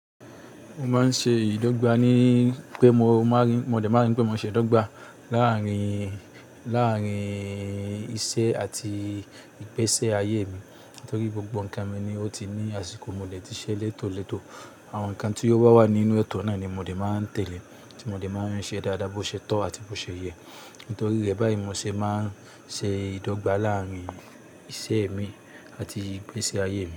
Mo máa ń ṣe ìdọ́gba ní pé mo máa ń rí, mo lè máa ń rí pé mo ṣe ìdọ́gba láàárín, láàárín iṣẹ́ àti ìgbésẹ ayé mi. Nítorí gbogbo ǹkan mi ni ó ti ní àsìkò mo lè ti ṣẹ lẹ́tò lẹ́tò. Àwọn ǹkan tí ó wà wá nínú etọ̀ náà ni mo dè máa ń tẹ̀lé tí mo dè máa ń ṣe dáadáa, bó ṣe tọ́ àti bó ṣe yẹ. Nítorí rẹ́bàì mo ṣe máa ń ṣe ìdọ́gba láàárín iṣẹ́ mi àti ìgbésẹ ayé mi.